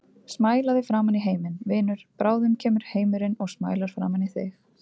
Smælaðu framan í heiminn, vinur, bráðum kemur heimurinn og smælar framan í þig.